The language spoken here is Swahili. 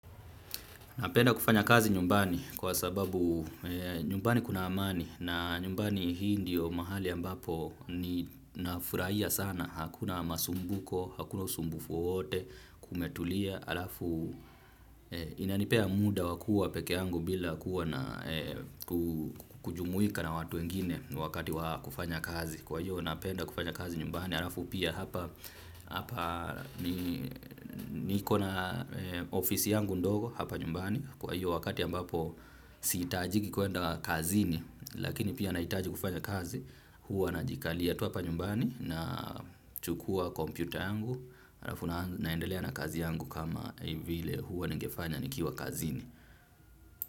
Napenda kufanya kazi nyumbani kwa sababu nyumbani kuna amani na nyumbani hii ndio mahali ambapo ninafuraia sana hakuna masumbuko, hakuna usumbufu wote, kumetulia alafu inanipea muda wakua peke yangu bila kujumuika na watu wengine wakati wakufanya kazi. Kwa hiyo napenda kufanya kazi nyumbani, harafu pia hapa niko na ofisi yangu ndogo hapa nyumbani. Kwa hiyo wakati ambapo siitajiki kuenda kazini lakini pia anaitaji kufanya kazi huwa najikalia tu hapa nyumbani. Na chukua kompyuta yangu, harafu naendelea na kazi yangu kama hivile huwa ningefanya nikiwa kazini.